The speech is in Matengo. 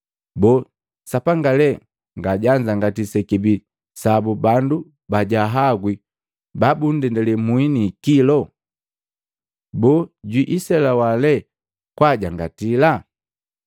Boo, Sapanga lee nga jaajangatiya sekibii sabu bandu bajaagwi babunndele muhi ni ikilo? Boo, jwiiselewa lee kwaajangatila?